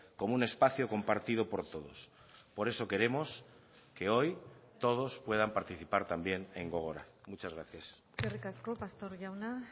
como un espacio compartido por todos por eso queremos que hoy todos puedan participar también en gogora muchas gracias eskerrik asko pastor jauna